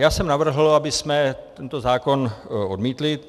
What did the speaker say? Já jsem navrhl, abychom tento zákon odmítli.